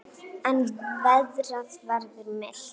En veðrið verður milt.